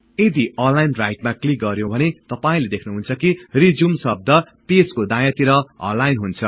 यदि align right मा click गर्यौं भने तपाई देख्नुहुन्छ कि रिज्युम शब्द पेजको दायाँतिर अलाइन हुन्छ